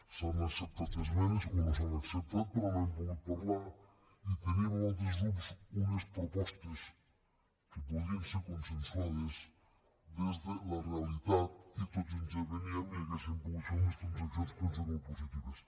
s’han acceptat esmenes o no s’han acceptat però no hem pogut parlar i teníem amb altres grups unes propostes que podrien ser consensuades des de la realitat i tots ens hi aveníem i hauríem pogut fer unes transaccions penso que molt positives